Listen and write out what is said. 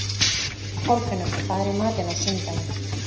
Kolfinnur, hvað er í matinn á sunnudaginn?